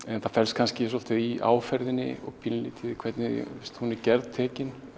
en það felst kannski svolítið áferðinni og pínulítið í því hvernig hún er gerð tekin